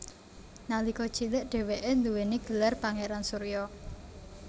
Nalika cilik dheweke duwéni gelar Pangeran Surya